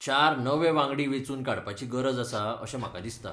चार नवे वांगडी वेंचून काडपाची गरज आसा अशें म्हाका दिसता.